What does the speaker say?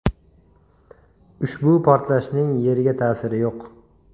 Ushbu portlashning Yerga ta’siri yo‘q.